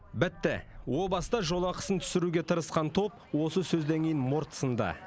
бітті о баста жол ақысын түсіруге тырысқан топ осы сөзден кейін морт сынды